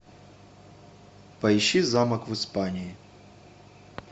поищи замок в испании